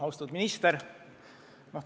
Austatud minister!